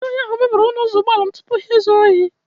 Ndị ohi ahụ mebiri ọnụ ụzọ ụgbọala m tupu ha ezuo ohi